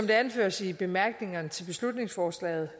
det anføres i bemærkningerne til beslutningsforslaget